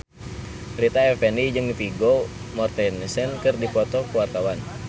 Rita Effendy jeung Vigo Mortensen keur dipoto ku wartawan